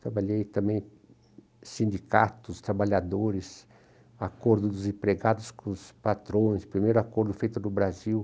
Trabalhei também em sindicatos, trabalhadores, acordo dos empregados com os patrões, primeiro acordo feito no Brasil.